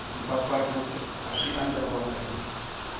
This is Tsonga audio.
mpfapfarhuto a swi andlariwangi hi